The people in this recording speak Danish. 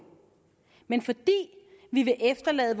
men fordi vi vil efterlade